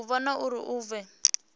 u vhona uri hu vhe